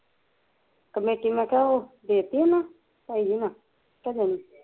ਮੈਂ ਕਿਹਾਂ ਉਹ ਦੇਤੀ ਉਹਨਾਂ ਤਾਈ ਜੀ ਹੁਣਾ ਕੇ ਨਹੀਂ